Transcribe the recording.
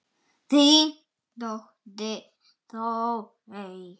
Þín dóttir, Þórey.